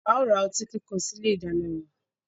A ó ra otí kíkan sí ilé ìdáná wa.